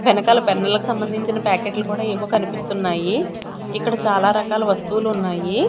వెనకాల పెన్ను లకు సంభందించిన ప్యాకెట్ లు కూడా ఏవో కనిపిస్తున్నాయి ఇక్కడ చాలా రకాల వస్తువులున్నాయి.